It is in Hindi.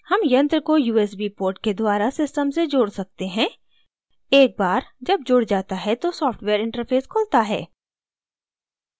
हम यंत्र को usb port के द्वारा system से जोड़ सकते हैं एक बार जब जुड़ जाता है तो सॉफ्टवेयर interface खुलता है